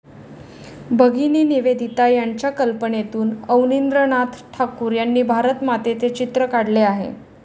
भगिनी निवेदिता यांच्या कल्पनेतून अवनींद्रनाथ ठाकूर यांनी भारतमातेचे चित्र काढले आहे.